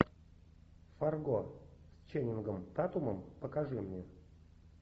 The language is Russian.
фарго с ченнингом татумом покажи мне